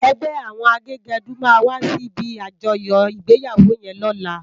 Ègbè áwòn àgégèdú má wàsí ibi ájòyò igbéyáwó yèn lòlá